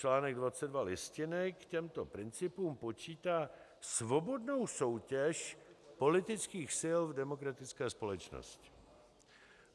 Článek 22 Listiny k těmto principům počítá svobodnou soutěž politických sil v demokratické společnosti.